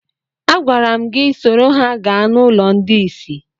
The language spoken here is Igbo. Agwara m gị soro ha gaa n'ụlọ ndị isi!